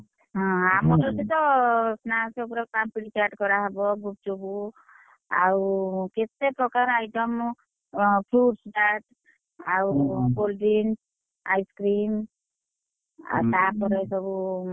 ହୁଁ ଆମର ସେଠିତ snacks ଉପରେପାମ୍ପଡି ଚାଟ୍ କରା ହବ, ଗୁପଚୁପ୍, ଆଉ କେତେ ପ୍ରକାର item fruits chart ଆଉ ସବୁ cold drinks, ice cream ଆଉ ତାପରେ,